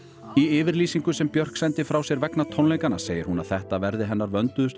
í yfirlýsingu sem Björk sendi frá sér vegna tónleikanna segir hún að þetta verði hennar vönduðustu